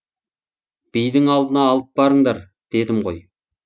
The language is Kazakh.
бидің алдына алып барыңдар дедім гой